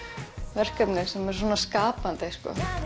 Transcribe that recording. verkefni sem eru svona skapandi